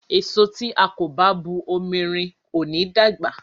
Èso tí a kò bá bu omi rin ò ní dàgbà.